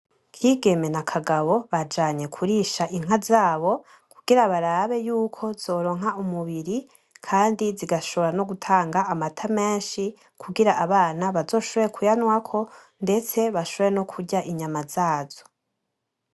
Kigeme na Kagabo bajanye kurisha inka zabo, kugira barabe yuko zoronka umubiri, kandi zigashobora nogutanga amata menshi, kugira abana bazoshobore kuyanwako ,ndetse bashobore nokurya inyama zazo.